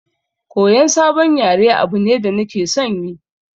Koyan sabon yare abu ne da nake son yi